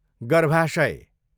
गर्भाशय